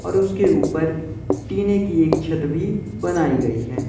और उसके ऊपर टीने की एक छत भी बनाई गई है।